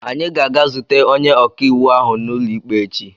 Anyị ga-aga zute onye ọka iwu ahụ n'ụlọikpe echi.